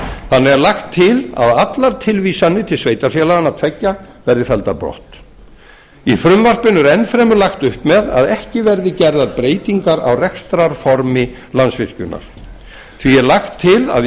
þannig er lagt til að allar tilvísanir til sveitarfélaganna tveggja verði felldar brott í frumvarpinu er enn fremur lagt upp með að ekki verði gerðar breytingar á rekstrarformi landsvirkjunar því er lagt til að í